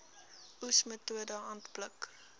oes metode handpluk